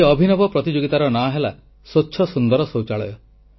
ଏହି ଅଭିନବ ପ୍ରତିଯୋଗିତାର ନାଁ ହେଲା ସ୍ୱଚ୍ଛ ସୁନ୍ଦର ଶୌଚାଳୟ